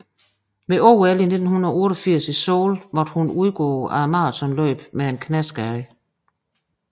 Ved OL i 1988 i Seoul måtte hun udgå af maratonløbet med en knæskade